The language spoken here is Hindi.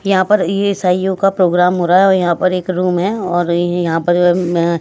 यहां पर ये ईसियों का प्रोग्राम हो रहा है औ यहां पर एक रूम है और य यहां पर अ म --